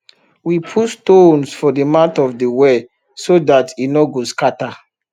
we put stones for the mouth of de well so dat e nor go scatter